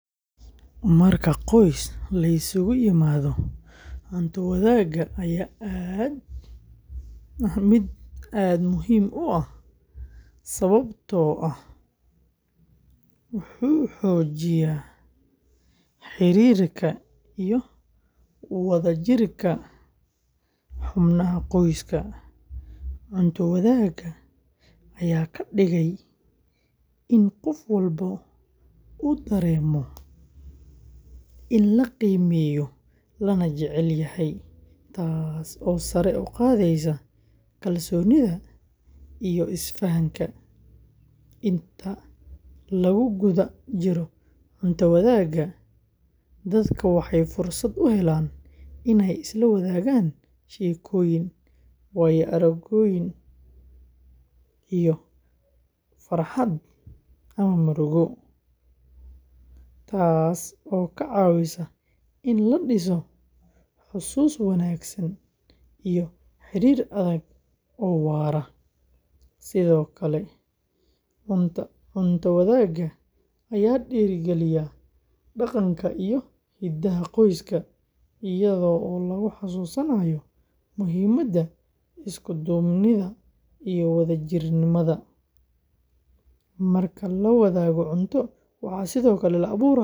Marka qoys la isugu yimaado, cunto wadaagga ayaa ah mid aad muhiim u ah sababtoo ah wuxuu xoojiyaa xiriirka iyo wadajirka xubnaha qoyska. Cunto wadaagga ayaa ka dhigaya in qof walba uu dareemo in la qiimeeyo lana jecel yahay, taasoo sare u qaadeysa kalsoonida iyo isfahanka. Inta lagu guda jiro cunto wadaagga, dadka waxay fursad u helaan inay isla wadaagaan sheekooyin, waaya-aragnimooyin, iyo farxad ama murugo, taasoo ka caawisa in la dhiso xasuuso wanaagsan iyo xiriir adag oo waara. Sidoo kale, cunto wadaagga ayaa dhiirrigeliya dhaqanka iyo hidaha qoyska, iyadoo lagu xasuusinayo muhiimadda isku duubnida iyo wadajirnimada. Marka la wadaago cunto, waxaa sidoo kale la abuurayaa jawi.